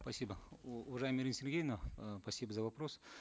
спасибо уважаемая ирина сергеевна э спасибо за вопрос